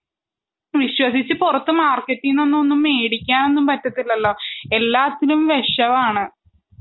വിശ്വസിച്ചു പുറത്തു മാർക്കറ്റിനൊന്നും മേടിക്കാൻ പറ്റത്തില്ലല്ലോ? എല്ലാത്തിലും വെഷമാണ്.